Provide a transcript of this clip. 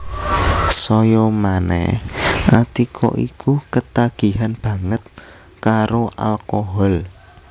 Saya manèh Atika iku ketagihan banget karo alkohol